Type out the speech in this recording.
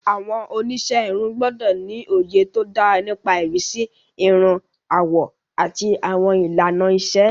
Àwọn oníṣẹ́ irun gbọ́dọ̀ ní òye tó dára nípa ìrísí irun, àwọ̀, àti àwọn ìlànà ìṣe.